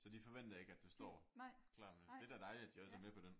Så de forventer ikke at du står klar med det er da dejligt at de også er med på den